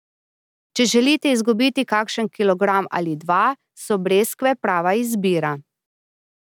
Če želite izgubiti kakšen kilogram ali dva, so breskve prava izbira.